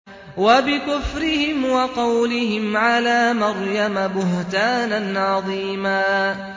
وَبِكُفْرِهِمْ وَقَوْلِهِمْ عَلَىٰ مَرْيَمَ بُهْتَانًا عَظِيمًا